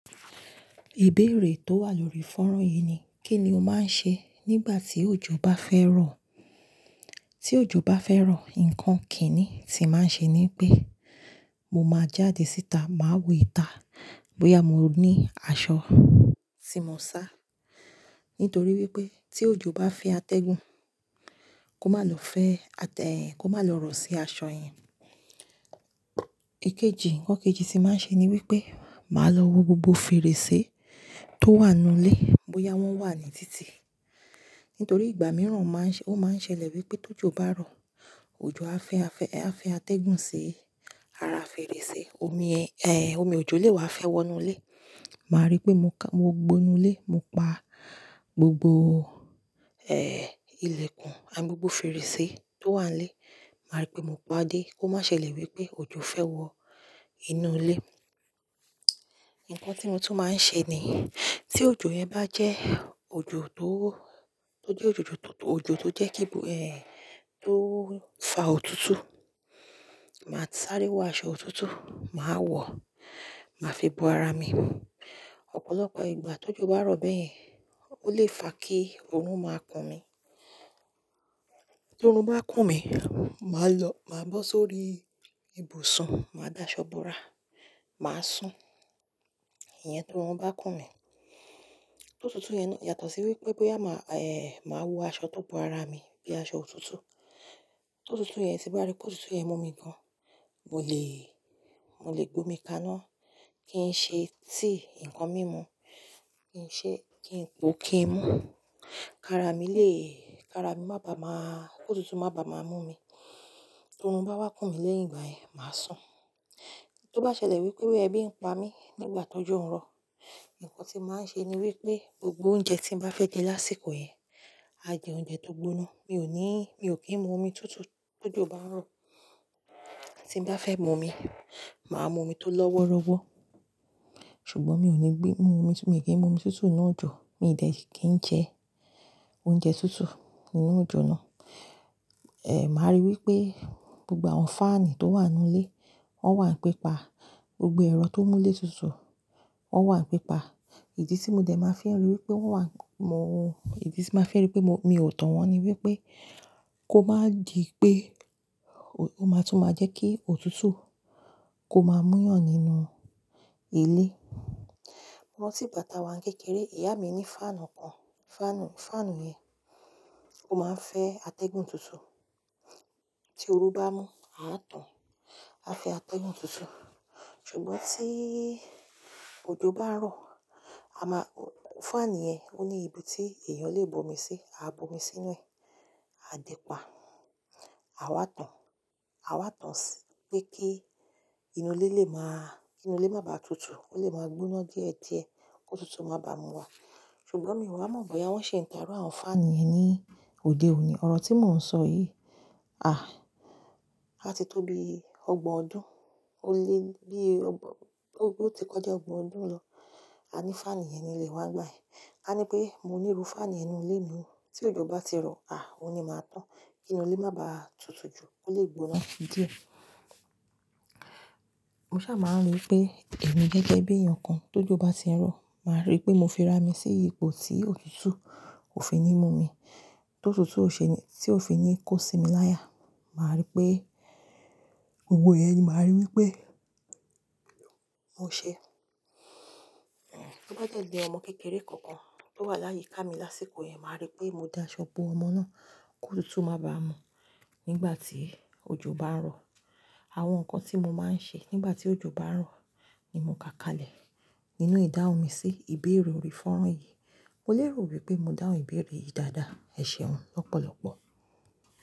Ìbéèrè tó wà lórí fọ́nrán yìí ni, kí ni o máa ń ṣe nígbà tí òjò bá fẹ́ rọ̀? Tí òjò bá fẹ́ rọ̀, nǹkan kìíní tí màá ṣe ni pé, mo máa jáde síta, màá wọ ìta bóyá mo ní aṣọ tí mo ń sá. Nítorí wípé tí òjò bá fe atẹ́gùn, kó má lọ fẹ́ atẹ́-- kó má lọ rọ̀ sí aṣọ yẹn. Èkejì, ǹkan kejì tí màá ṣe ni wípé, màá lọ wo gbogbo fèrèsé tó wà nínú ilé bóyá wọ́n wà ní títì. Nítorí ìgbà mìíràn máa ń ṣẹ-- ó máa ń ṣẹlẹ̀ wípé tó jò bá rọ̀, òjò á fẹ́ atẹ́gùn sí ara fèrèsé, omi ẹ-- ehn, omi òjò lè wá fẹ́ wọ inú ilé. Máa rí pé mo ka-- mo gbó inu ilé, mo pa gbogbo, ilẹ̀kùn àti gbogbo fèrèsé tó wà nílé. Màá rí pé mo pa á dé kó má ṣẹlẹ̀ wípé òjò fẹ́ wọ inú ilé. Nǹkan tí mo tún máa ń ṣe ni, tí òjò yẹn bá jẹ́ òjò tó, tó jẹ́ òjò tó tutù, òjò tó jẹ́ kí bó, tó fa òtútù, màá sáré wọ aṣọ òtútù, màá wọ̀, màá fi bo ara mi. Ọ̀pọ̀lọpọ̀ ìgbà tó jò bá rọ̀ bẹ́ẹ̀, ó lè fa kí oorun máa kùn mí. Torun bá kùn mí, màá lọ, màá bọ́ sórí ibùsùn, màá da aṣọ bo ara, màá sùn. Ìyẹn toruń bá kùn mí. Tótùtù yẹn, yàtọ̀ sí wípé bóyá màá, máa wọ aṣọ tó bo ara mi bíi aṣọ òtútù. Tótùtù yẹn, ti mbá rí pé ótùtù yẹn mú mi gan, mo lè, mo lè gbomi kaná, kí n ṣe tí nǹkan mímu, kí n ṣe kí n-- ko kí n mu. Kara mi lè, kara mi má bàa máa-- tótùtù má bàa máa mú mi. Torun bá wá kùn mí lẹ́yìn ìgbà yẹn, màá sùn. Tí ó bá ṣẹlẹ̀ wípé boya ẹ́bí ń pa mí nígbà tó jọ ń rọ̀, ǹkan tí màá ṣe ni wípé gbogbo oúnjẹ tí mo bá fẹ́ jẹ lásìkò yẹn, a jẹ oúnjẹ tó gbóná. Mi ò ní, mi ò kí ń mu omi tútù tó jò bá ń rọ̀. Tí mo bá fẹ́ mu omi, màá mu omi tó lọ́wọ́rọ́wọ́. Ṣùgbọ́n mi ò ní gbé, mu omi tún, mi ò kí ń mu omi tútù nínú òjò, mi ò dẹ̀ kí ń jẹ oúnjẹ tútù nínú òjò náà. Màá rí wípé gbogbo àwọn fáànù tó wà nínú ilé, wọ́n wà ní pípa. Gbogbo ẹ̀rọ tó mú ilé tutù, wọ́n wà ní pípa. Idí tí mo dẹ̀ máa fi ri wípé wọ́n wà mú-- idí tí máa fi hàn wípé mo, mi ò tàn wọ́n ni wípé kó má dì pé ó má tún máa jẹ́ kí òtútù kó má múyàn nínú ilé. Mo rantí ìgbà tá a wà ní kékeré, ìyá mi ní fáànù kan. Fáànù, fáànù yẹn ó máa ń fẹ́ atẹ́gùn tutù. Tí oru bá mú, a á tàn, a fẹ́ atẹ́gùn tutù. Ṣùgbọ́n tí òjò bá rọ̀, a má-- fáànù yẹn ó ní ibi tí èèyàn lè bu omi sí, a bu omi sínú rẹ̀, a dì pá, a wá tàn. A wá tàn sí pé kí inú ilé lè máa, inú ilé má bàa tutù, ó lè máa gbóná díẹ̀ díẹ̀, kótùtù má bàa mú wa. Ṣùgbọ́n mi ò mọ̀ bóyá wọ́n ṣi ń ta àwọn fáànù yẹn ní òde òní. Ọ̀rọ̀ tí mò ń sọ yìí, àh! Á ti tó bi ọgbọ̀n ọdún. Ó lé, bíi ọgbọ̀n-- o ru ti kọjá ọgbọ̀n ọdún lọ, a ní fáànù yẹn ni ilé wa gbàyen. kA ní pé, mo níru fáànù ninú ilé mi ni. Tí òjò bá ti rọ̀, àh! Ó ni máa tàn, kí inú ilé má bàa tutù jù, ó lè gbóná díẹ̀. Mo sá máa ń rí i pé èmi gẹ́gẹ́ bí èèyàn kan, tó jò bá ti ń rọ̀, màá rí pé mo fi ra mi sí ipò tí òtútù ò fi ní mú mi. Tótùtù ò ṣe ni, tí ò fi ní kó sí mi láyà. Màá rí pé gbogbo iyẹ́n yìí, màá rí wípé mo ṣe. Bó ba dẹ́ jẹ̀ ọmọ kékeré kankan tó wà láyé ká mi lásìkò yẹn, màá rí pé mo da aṣọ bo ọmọ náà kó tótù má bàa mú nígbà tí òjò bá ń rọ̀. Àwọn ǹkan tí mo máa ń ṣe nígbà tí òjò bá ń rọ̀ ni mo ká kalẹ̀ nínú ìdáhùn mi sí ìbéèrè orí fọ́nrán yìí. Mo lérò wípé mo dáhùn ìbéèrè yìí dáadáa. Ẹ̀ṣẹ̀ hun lọ́pọ̀lọpọ̀.